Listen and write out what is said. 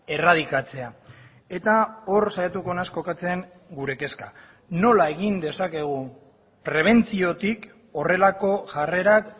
erradikatzea eta hor saiatuko naiz kokatzen gure kezka nola egin dezakegu prebentziotik horrelako jarrerak